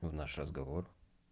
наш разговор